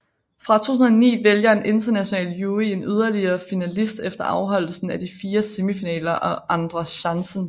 Fra 2009 vælger en international jury en yderligere finalist efter afholdelsen af de fire semifinaler og Andra chansen